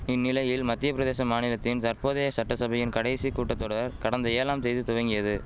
இந்நிலையில் மத்தியபிரதேச மாநிலத்தின் தற்போதைய சட்டசபையின் கடைசி கூட்டதொடர் கடந்த ஏழாம் தேதி துவங்கியது